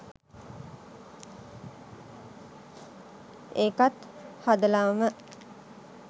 ඒකත් හදලාම